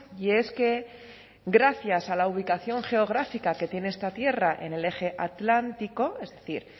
y es que gracias a la ubicación geográfica que tiene esta tierra en el eje atlántico es decir